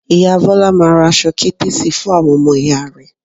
Ìyá Bọ́lá máa ra aṣọ kértésì fún àwọn ọmọ ìyá rẹ̀